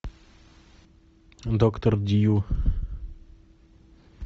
доктор дью